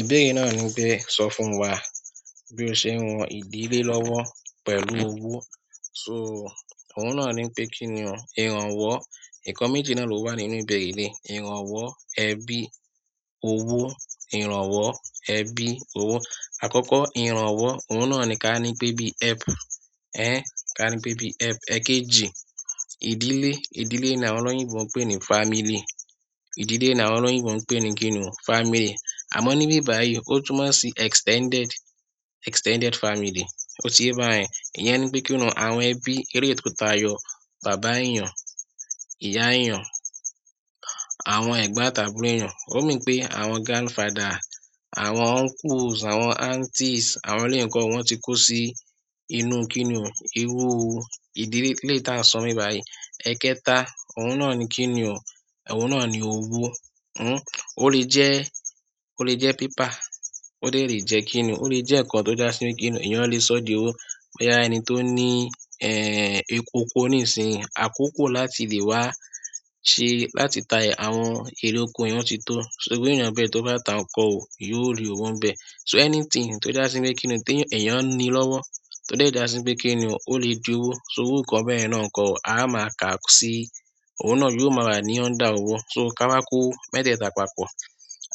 Ìbéèrè náà ni pé sọ fún wá bí o ṣe ń ràn ìdílé lọ́wọ́ pẹ̀lú ọwo. Sọ òun náà ní pé kí ni ó ìrànwọ́. Nǹkan méjì na ló wà nínú ìbéèrè eléyìí, ìrànwọ́, ẹbí, owó, ìrànwọ́, ẹbí owó. Àkókò, ìrànwọ́, ohun na ni ká nípé bí helpu, ká nípé bí helpu, èkejì, ìdílé ìdílé ni àwọn olóyinbó ń pè ní fámílì, ìdílé ni àwọn olóyinbó ń pè ní kíni o, fámílì. A mo níbí báyìí, ó túnmọ̀ sí extended, extended fámílì, ó ti yẹ bá yẹn, ìyẹn nípé kinu, àwọn ẹbí eléyi tó ta yọ bàbá èyàn, ìyá èyàn àwọn ẹ̀gbọ́n àti àbúrò èyàn, ó mean pé, àwọn grandfather, àwọn uncles, àwọn aunties, àwọn eléyi ń ko o, wọ́n ti kò sí inú kí ni o, irú ìdílé eléyi ta ń sọ níbí báyìí, ẹ̀kẹta, ohun na ni kíni o, ohun na ni owó ó lè jẹ́, ó lè jẹ́ paper, ó dẹ̀ lè jẹ́ kíni o, ó lè jẹ́ nǹkan tó já sí kíni, èyàn lè sọ d'owo bóyá ẹni tó ní ẹ̀, ọkọ̀ ni sin, àkókò láti lè wá ṣe, láti ta àwọn ere ọkọ̀ yẹn ti tó, irú èyàn be, tó bá ta nǹkan ẹ, yó rí owó níbẹ̀ so, anything tó já sí pé kíni o, pé èyàn ní lọ́wọ́, tó dẹ̀ jásí pé ó lè di owó sọ irú nǹkan be yan na ńkọ́ o, a má ká sí, ohun na yó má wà ní under owó, sọ tí a bá kó mẹ́tẹ̀ta pọ̀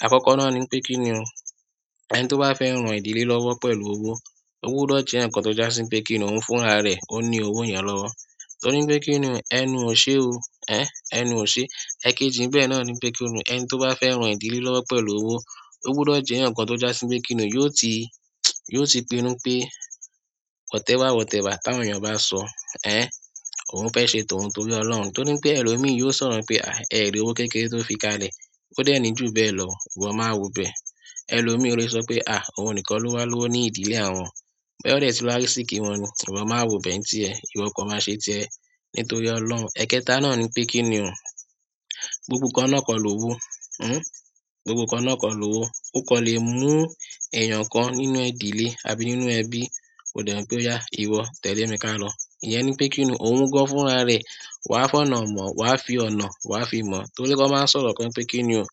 àkókò na ni wípé kíni o, ẹni tó bá fẹ́ ràn ìdílé lọ́wọ́ pẹ̀lú owó, ó gbọ́dọ̀ jẹ́ èyàn kan tó jásí pé kíni o, ohun fún ra ra ẹ, ó ní owó yẹn lọ́wọ́ torí pé kíni o, ẹnu ò ṣé o, ehn, ẹnu ò ṣe èkejì nbẹ̀ na ni pé kíni o, ẹni tó bá fẹ́ ràn ìdílé lọ́wọ́ pẹ̀lú owó, ó gbọ́dọ̀ jẹ́ èyàn kan tó jásí pé kíni o, yó ti, yó ti pinu pé whatever whatever ta wọ́n èyàn ò bá sọ, ehn, ohun fẹ́ ṣe tóhun torí ọlọ́run torí n pé ẹ lọ mi yó sọ̀rọ̀ n pé ẹ rí owó kékeré tó fi ká lè ó dẹ̀ ní jù be lọ, ìwọ má wo be, ẹ lọ mi ò lè sọ wípé ohun nìkan ló wà lọ́wọ́ ní ìdílé àwọn bóyá ó dẹ̀ ti lò arisiki wọn ni, ìwọ má wo be n ti ẹ, ìwọ kan má ṣe ti ẹ nítorí ọlọ́run, ẹ̀kẹta na ni pé kíni o, gbogbo nǹkan na kó lọ́wọ́, hun, gbogbo nǹkan na ká lọ́wọ́ ó kan lè mú èyàn kan nínú ìdílé àbí nínú ẹbí, ko dẹ̀ wo pé, o ya, ìwọ tẹ̀lé mi ká lọ, ìyẹn nípé kíni, ohun gan fún ra ra ẹ, wá fi ọ̀nà ma, wá fi ọ̀nà, wá fi mo torí wọ́n máa ń sọ̀rọ̀ kan pé kíni o,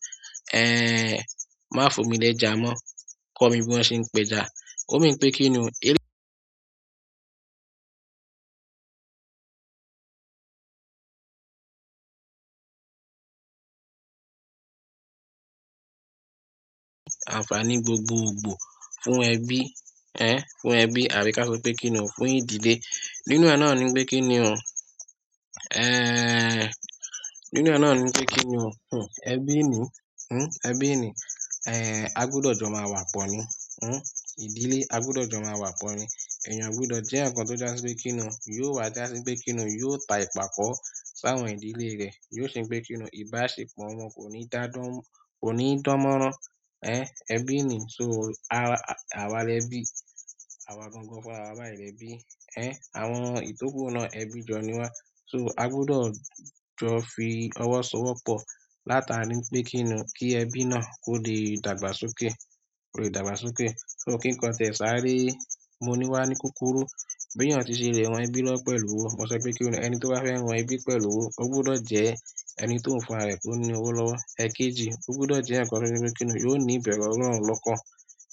ehn, má fún mi ní ẹja mo, kọ́ mi bí wọ́n ṣe ń pa ẹja ó mean pé kíni o, ànfàní gbogbo gbọ́ fún ẹbí, ehn, fún ẹbí, àbí ká sọ wípé kíni o, fún ìdílé. Irú ẹ na ni pé kíni o ehn, nínú ẹ na ni pé kíni o, ẹbí ni hmn, ẹbí ni, a gbúdọ̀ jọ má wà pọ̀ ní, ìdílé, a gbúdọ̀ jọ má wà pọ̀ ni èyàn ò gbúdọ̀ jẹ́ èyàn kan tó jásí pé kíni o, yó wá jásí pé kíni o, yó ta ipako sí àwọn ìdílé rẹ̀, yó ṣe pé kíni o, ìbáṣepọ̀ wọn kò ní dá dán, kò ni dán mọ́rán, ehn, ẹbí ni sọ, àwa l'ebi, àwa gangan fún ra wa báyìí l'ebi, ehn, àwọn itoku na ẹbí jọ ni wa sọ, agbudo jo fi owó so wo pọ̀, látàrí ń pé kíni o, kí ẹbí na kò lè dàgbà s'oke, kò lè dàgbà s'oke, kín kan tí ẹ sa re mú wa ní kúkúrú bí èyàn tí ṣe lè ràn ẹbí lọ́wọ́ pẹ̀lú owó, mo sọ pé kí o, ẹni tí o bá fẹ́ ràn ẹbí pẹ̀lú owó, o gbúdọ̀ jẹ́ ẹni t ohun fún ra e tó ní owó lọ́wọ́, èkejì, o gbúdọ̀ jẹ́ èyàn kan tí o jẹ́ pé kíni o, yó ní ìbẹ̀rù ọlọ́run lọ́kàn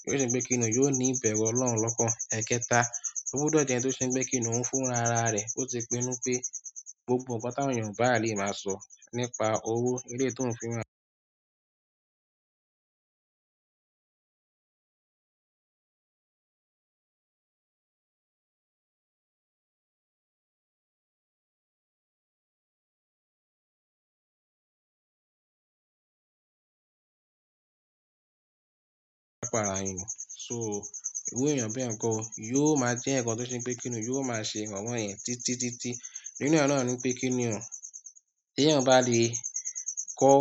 o ṣe pé kíni o, yó ní ìbẹ̀rù ọlọ́run lọ́kàn, ẹ̀kẹta, o gbúdọ̀ jẹ́ ẹni tó ṣe pé kíni o, ohun fún ra ra ẹ o ti pinu pé, gbogbo ǹkan tí àwọn èyàn ò bá lè má sọ nípa owó eleyi t ohun fún èyàn sọ, irú èyàn bẹ́ ńkọ́ o, yó má jẹ́ èyàn kan tó ṣe pé kíni o, yó má ṣe ìrànwọ́ yẹn titi-titi, inú e na nípé kíni o, tí eyan bá lè kó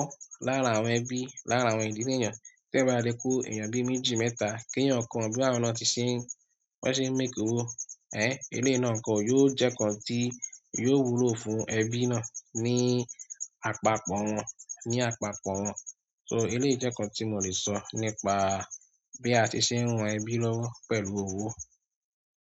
lára àwọn ẹbí, lára àwọn ìdílé èyàn tí eyan bá lè kó èyàn bí méjì, mẹ́ta, kí èyàn kó wọ́n bí àwọn na tí ń ṣe, bí wọ́n ṣe ń make owó, ehn, eleyi na ńkọ́ yó jẹ́ nǹkan tí yó wù lọ fún ẹbí na ní àpapọ̀ wọ́n sọ, eleyi jẹ́ nǹkan tí mo lè sọ nípa bí àti ṣe ń ràn ẹbí lọ́wọ́, pẹ̀lú owó.